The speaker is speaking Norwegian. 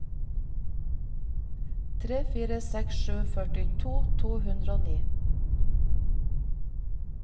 tre fire seks sju førtito to hundre og ni